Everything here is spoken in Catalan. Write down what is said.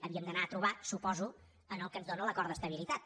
havíem d’anar a trobar suposo el que ens dóna l’acord d’estabilitat